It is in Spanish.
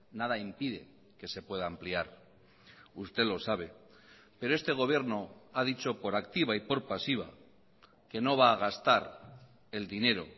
nada impide que se pueda ampliar usted lo sabe pero este gobierno ha dicho por activa y por pasiva que no va a gastar el dinero